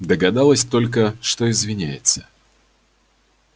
догадалась только что извиняется